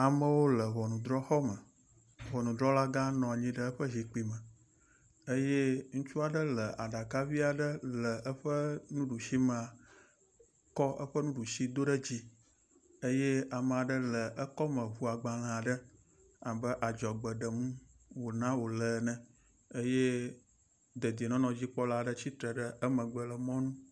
Amewo le ŋɔnudrɔxɔme. Ŋɔnudrɔlagã nɔ anyi ɖe eƒe zikpui me eye ŋutsua ɖe le aɖaka vi aɖe le eƒe nuɖusi mea kɔ eƒe nuɖui do ɖe dzi eye ame aɖe le ekɔme ŋu agbale aɖe abe adzɔgbe ɖem wona wo le ene eye dedienɔnɔdzikpɔla aɖe tsitre ɖe emegbe le mɔnu.